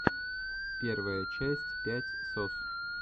первая часть пять сос